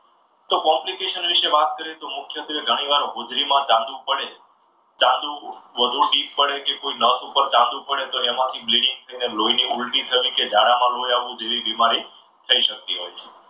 તો complication વિશે વાત કરીએ તો મુખ્યત્વે ઘણી વાર હોજરીમાં ચાંદુ પડે ચાંદૂ વધુ પડે કે નસ પર ચાંદો પડે તો એમાંથી બિલ્ડિંગ થાય અને લોહીની ઉલટી થાય કે ઝાડામાં લોહી આવવું જેવી બીમારી થઈ શકતી હોય છે.